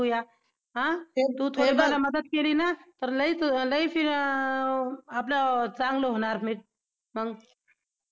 हा हेबग तु थोडी मदत केलीना तर लय आपलं चांगलं होणार मंग